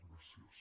gràcies